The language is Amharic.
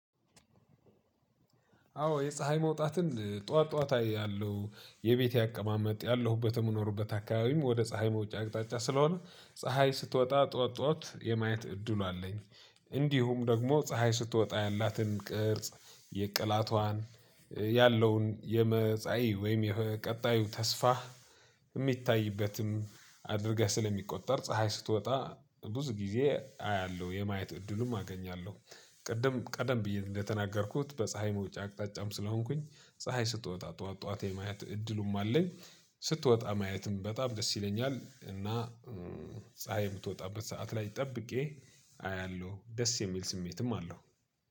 አዎ የፀሀይ መውጣትን ጠዋት ጠዋት አያለው የቤቴ አቀማመጥ፣ ያለሁበት የምኖርበት አካባቢም ወደ ፀሀይ መውጫ አቅጣጫ ስለሆነ ፀሀይ ስትወጣ ጠዋት ጠዋት የማየት እድሉ አለኝ። እንዲሁም ደግሞ ፀሀይ ስትወጣ ያላትን ቅርጽ፣ የቅላቷን፣ ያለውን የመጻኢ ወይም የቀጣዩ ተስፋ የሚታይበትም አድርገህ ስለሚቆጠር ፀሀይ ስትወጣ ብዙ ጊዜ አያለሁ የማየት እድሉም አገኛለሁ። ቅድም ቀደም ብዬ እንደተናገርኩት በፀሀይ መውጫ አቅጣጫም ስለሆንኩኝ ፀሀይ ስትወጣ ጠዋት ጠዋት የማየት እድሉም አለኝ። ስትወጣ ማየትም በጣም ደስ ይለኛል እና ፀሀይ የምትወጣበት ሰዓት ላይ ጠብቄ አያለሁ ደስ የሚል ስሜትም አለው።